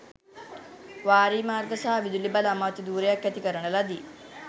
වාරිමාර්ග සහ විදුලි බල අමාත්‍ය ධුරයක් ඇති කරන ලදී